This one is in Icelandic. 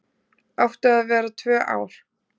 Áttu að vera tvö ár